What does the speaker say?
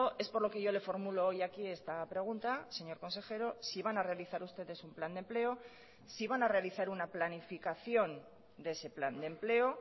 es por lo que yo le formulo hoy aquí esta pregunta señor consejero si van a realizar ustedes un plan de empleo si van a realizar una planificación de ese plan de empleo